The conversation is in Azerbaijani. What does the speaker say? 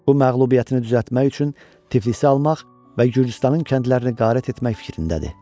Bu məğlubiyyətini düzəltmək üçün Tiflis almaq və Gürcüstanın kəndlərini qarat etmək fikrindədir.